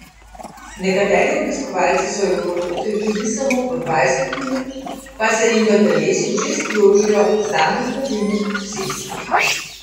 Nekateri obiskovalci so lahko notri tudi samo po dvajset minut, pa se jim v telesu že sprožijo samozdravilni procesi.